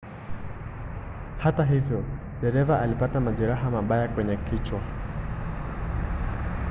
hata hivyo dereva alipata majeraha mabaya kwenye kichwa